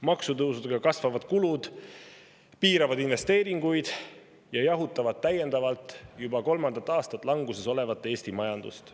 Maksutõusudega kasvavad kulud piiravad investeeringuid ja jahutavad täiendavalt juba kolmandat aastat languses olevat Eesti majandust.